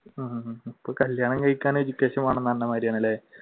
ഉം ഇപ്പോ കല്യാണം കഴിക്കാൻ education